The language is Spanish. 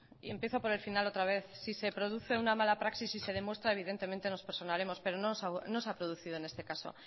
y empiezo por el final otra vez si se produce una mala praxis y se demuestra evidentemente nos personaremos pero no se ha producido en este caso